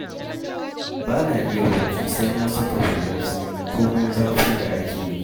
Bana iya bacci sai na saka hular sanyi, komai zafin da ake yi.